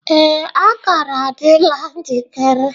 Ee, akara adịla njikere.